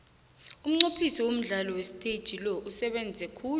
umnqophisi womdlalo wesiteji lo usebenze khulu